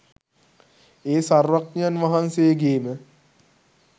ඒ සර්වඥයන් වහන්සේ ගේ ම